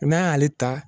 n'an y'ale ta